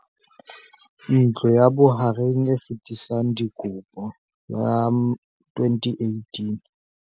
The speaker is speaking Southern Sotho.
Ntlo ya Bohareng e Fetisang Dikopo, CACH, ya 2018